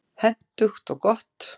Hentugt og gott.